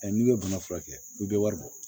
n'i ye bana furakɛ i bɛ wari bɔ